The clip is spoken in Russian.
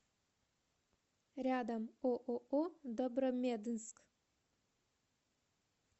рядом ооо добромеднск